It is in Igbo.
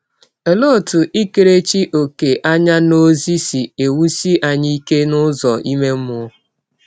Ọlee ọtụ ikerechi ọ̀kè anya n’ọzi si ewụsi anyị ike n’ụzọ ime mmụọ?